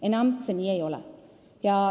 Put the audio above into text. Enam see nii ei ole.